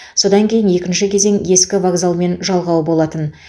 содан кейін екінші кезең ескі вокзалмен жалғау болатын